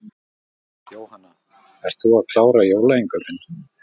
Jóhanna: Ert þú að klára jólainnkaupin?